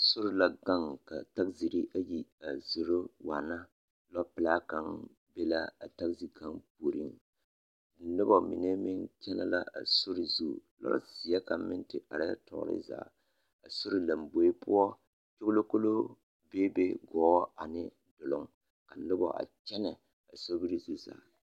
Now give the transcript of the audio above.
Sori la gaŋ ka tagiziri ayi a zoro waana, lɔpelaa kaŋ be la a tagizi kaŋ puoriŋ noba mine meŋ kyɛnɛ la a sori zu, lɔzeɛ kaŋ meŋ te arɛɛ tɔɔre zaa, a sori lamboe poɔ kyogilokoloo beebe gɔɔ ane duluŋ, ka noba a kyɛnɛ a sobiri zu zaa.